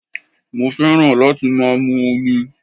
Mo fẹ́ràn láti má a mu omi